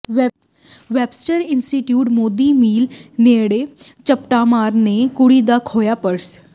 Webster institute Modi mill ਨੇੜਿਓ ਝਪਟਮਾਰਾਂ ਨੇ ਕੁੜੀ ਦਾ ਖੋਹਿਆ ਪਰਸ